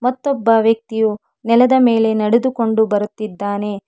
ಮತ್ತೊಬ್ಬ ವ್ಯಕ್ತಿಯು ನೆಲದ ಮೇಲೆ ನಡೆದುಕೊಂಡು ಬರುತ್ತಿದ್ದಾನೆ.